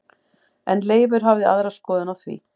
En Leifur hafði aðra skoðun á því.